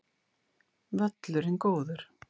Völlurinn góður